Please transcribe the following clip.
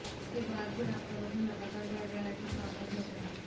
इसके बाद भी आपका वजन लगातार बढ़ रहा है तो सावधान हो जाएं